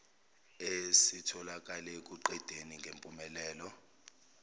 esitholakale ekuqedeni ngempumelelo